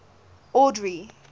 audrey